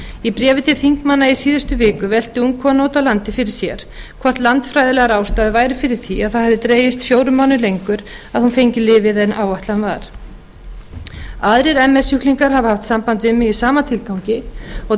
í bréfi til þingmanna í síðustu viku velti ung kona úti á landi fyrir sér hvort landfræðilegar ástæður væru fyrir því að það hefði dregist fjórum mánuðum lengur að hún fengi lyfið en áætlað var aðrir ms sjúklingar hafa haft samband við mig í sama tilgangi og